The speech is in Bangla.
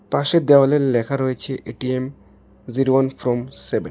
পাশের দেওয়ালে লেখা রয়েছে ATM zero one from seven.